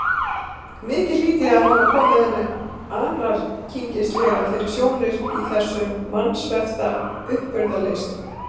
Mikið hlýt ég að hafa komið henni ankringislega fyrir sjónir í þessu vansvefta uppburðaleysi.